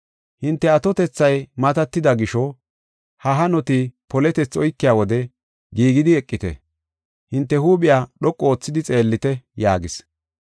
Hinte atotethay matatida gisho ha hanoti poletethi oykiya wode giigeti eqite, hinte huuphiya dhoqu oothidi xeellite” yaagis.